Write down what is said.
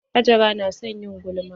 Hajara na son yin gulma.